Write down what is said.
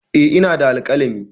Eh ina da alkalami.